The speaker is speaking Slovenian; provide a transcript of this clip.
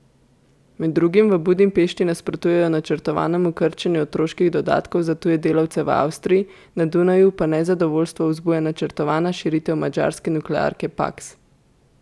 Med drugim v Budimpešti nasprotujejo načrtovanemu krčenju otroških dodatkov za tuje delavce v Avstriji, na Dunaju pa nezadovoljstvo vzbuja načrtovana širitev madžarske nuklearke Paks.